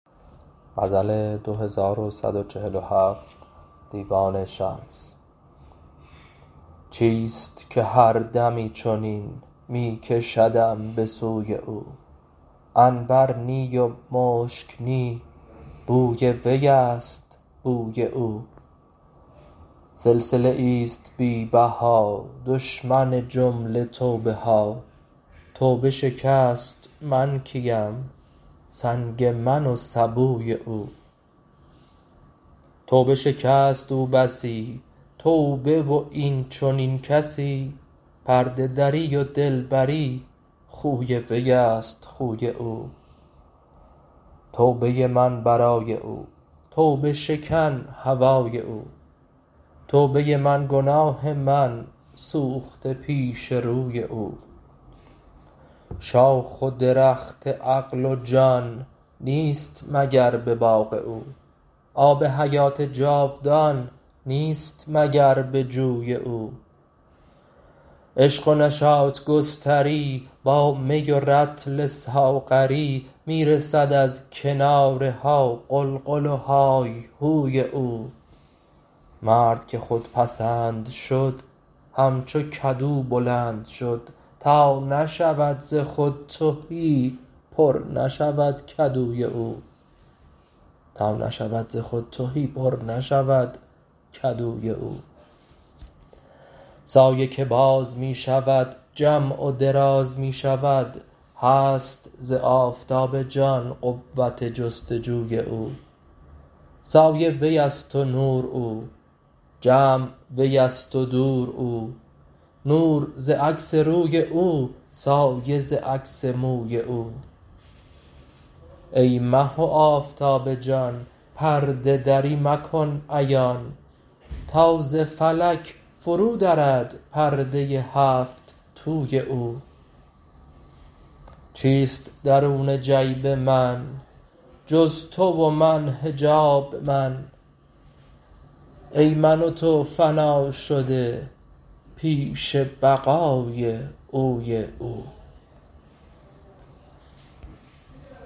چیست که هر دمی چنین می کشدم به سوی او عنبر نی و مشک نی بوی وی است بوی او سلسله ای است بی بها دشمن جمله توبه ها توبه شکست من کیم سنگ من و سبوی او توبه شکست او بسی توبه و این چنین کسی پرده دری و دلبری خوی وی است خوی او توبه ی من برای او توبه شکن هوای او توبه من گناه من سوخته پیش روی او شاخ و درخت عقل و جان نیست مگر به باغ او آب حیات جاودان نیست مگر به جوی او عشق و نشاط گستری با می و رطل ساغری می رسد از کنارها غلغل و های هوی او مرد که خودپسند شد همچو کدو بلند شد تا نشود ز خود تهی پر نشود کدوی او سایه که باز می شود جمع و دراز می شود هست ز آفتاب جان قوت جست و جوی او سایه وی است و نور او جمع وی است و دور او نور ز عکس روی او سایه ز عکس موی او ای مه و آفتاب جان پرده دری مکن عیان تا ز فلک فرودرد پرده ی هفت توی او چیست درون جیب من جز تو و من حجاب من ای من و تو فنا شده پیش بقای اوی او